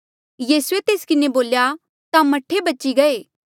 यीसूए तेस किन्हें बोल्या ता मह्ठे बची गये